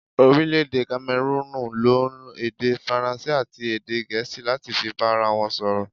Orílẹ̀dè 'Kamerúnù n lo èdè faransé àti èdè gèésì láti fi bára won sòrò